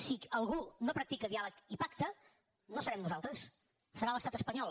si algú no practica diàleg i pacte no serem nosaltres serà l’estat espanyol